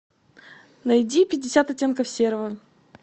найди пятьдесят оттенков серого